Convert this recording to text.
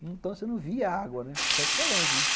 Então você não via a água, tanto que é longe, né.